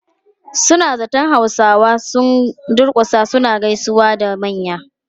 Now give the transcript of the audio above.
Suna zaton Hausawa sun durkusa suna gaisawa da manya.